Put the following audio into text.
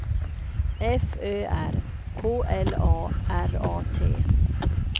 F Ö R K L A R A T